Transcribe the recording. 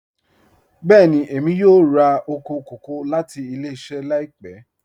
Bẹẹ̀ni, emi yọ̀ọ̀ rà oko kọkọ̀ lati ilẹ̀-iṣẹ laipẹ